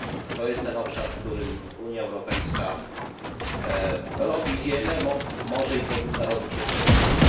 To jest ten obszar, w którym Unia Europejska robi wiele, ale może i powinna robić jeszcze więcej.